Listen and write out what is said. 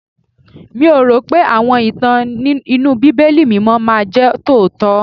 Mi ò rò pé àwọn ìtàn inú Bíbélì mímọ́ máa jẹ́ tòótọ́.